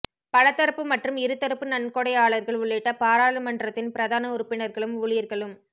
பலதரப்பு மற்றும் இருதரப்பு நன்கொடையாளர்கள் உள்ளிட்ட பாராளுமன்றத்தின் பிரதான உறுப்பினர்களும் ஊழியர்களும்